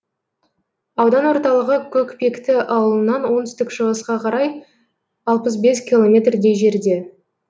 аудан орталығы көкпекті ауылынан оңтүстік шығысқа қарай алпыс бес километрдей жерде